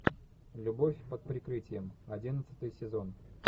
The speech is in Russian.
любовь под прикрытием одиннадцатый сезон